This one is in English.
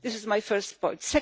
This is my first point.